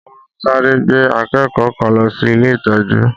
Wọ́n sáré gbé akẹ́kọ̀ọ́ kan lọ sí ilé ìtọ́jú